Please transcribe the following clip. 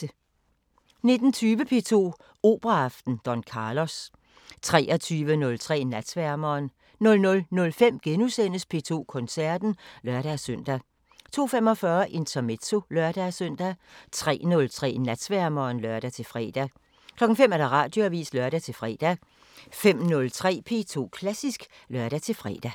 19:20: P2 Operaaften: Don Carlos 23:03: Natsværmeren 00:05: P2 Koncerten *(lør-søn) 02:45: Intermezzo (lør-søn) 03:03: Natsværmeren (lør-fre) 05:00: Radioavisen (lør-fre) 05:03: P2 Klassisk (lør-fre)